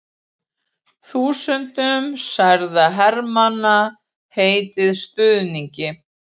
Þúsundum særðra hermanna heitið stuðningi